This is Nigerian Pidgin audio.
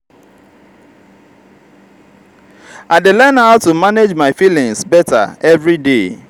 i dey learn how to manage my feelings better every day.